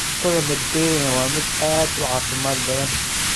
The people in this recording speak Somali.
Cuntada Mediterranean waa mid aad u caafimaad badan.